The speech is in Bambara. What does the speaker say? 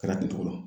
Kɛra ten cogo la